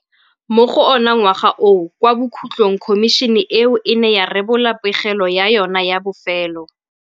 Mo go ona ngwaga oo kwa bokhutlhong khomišene eo e ne ya rebola pegelo ya yona ya bofelo.